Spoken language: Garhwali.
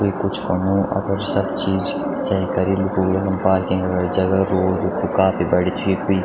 कोई कुछ करणु अपड सब चीज सएई करीं लुखु ला यखम पार्किंग वलि जगह रोड कु भी काफी बड़ी छि कुई --